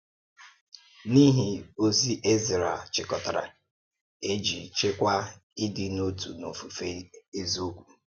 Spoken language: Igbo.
N’ihi ozi Ezrā chị̀kọ̀tàrà, e jí chèkwàá ịdị̀ n’otu na ofufe eziokwu.